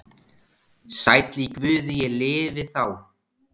Sæll í Guði ég lifi þá.